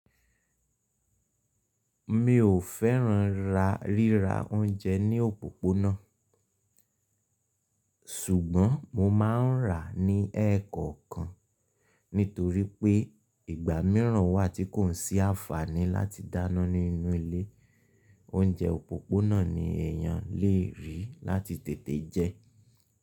Mi ò fẹ́ràn rírá oúnjẹ ní òpópónà, ṣùgbọ́n mo máa ń rà ní ẹkọ̀kan. Nítorí pé ìgbà míràn wà tí kò n sí àǹfàní láti dáná nínú ilé, oúnjẹ òpópónà ni èèyàn lè rí láti tètè jẹ.